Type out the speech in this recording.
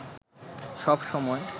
সব সময়